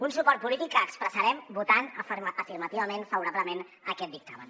un suport polític que expressarem votant afirmativament favorablement a aquest dictamen